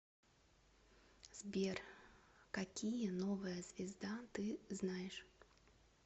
сбер какие новая звезда ты знаешь